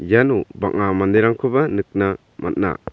iano bang·a manderangkoba nikna man·a.